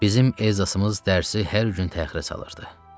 Bizim Elzasımız dərsi hər gün təxirə salırdı.